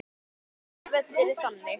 Þessi völlur er þannig.